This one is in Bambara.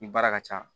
I baara ka ca